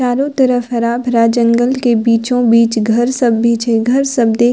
चारों तरफ हरा-भरा जंगल के बीचों-बीच घर सब भी छै घर सब देख --